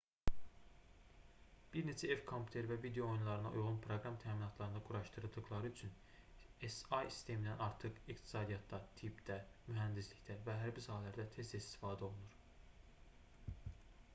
bir neçə ev kompüteri və video oyunlarına uyğun proqram təminatlarında quraşdırıldıqları üçün si̇ sistemindən artıq iqtisadiyyatda tibbdə mühəndislikdə və hərbi sahələrdə tez-tez istifadə olunur